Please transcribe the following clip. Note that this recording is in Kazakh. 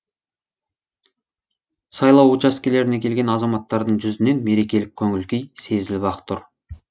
сайлау учаскелеріне келген азаматтардың жүзінен мерекелік көңіл күй сезіліп ақ тұр